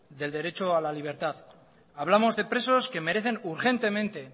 del derecho a la libertad hablamos de presos que merecen urgentemente